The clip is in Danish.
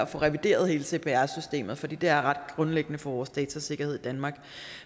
få revideret hele cpr systemet fordi det er ret grundlæggende for vores datasikkerhed danmark